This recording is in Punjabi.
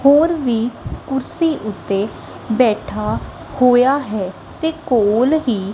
ਹੋਰ ਵੀ ਕੁਰਸੀ ਓੱਤੇ ਬੈਠਾ ਹੋਇਆ ਹੈ ਤੇ ਕੋਲ ਹੀ--